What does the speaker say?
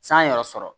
San yɛrɛ sɔrɔ